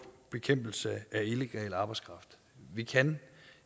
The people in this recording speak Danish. bekæmpelse af illegal arbejdskraft vi kan